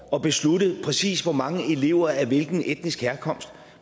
og beslutte præcis hvor mange elever af hvilken etnisk herkomst